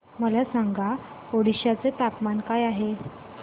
मला सांगा ओडिशा चे तापमान काय आहे